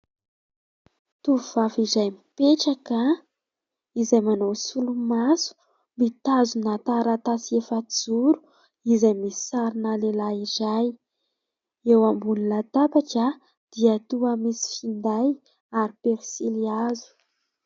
Tovovavy iray mipetraka, izay manao solomaso, mitazona taratasy efa-joro izay misy sarina lehilahy iray. Eo ambony latabatra dia toa misy finday ary pensilihazo.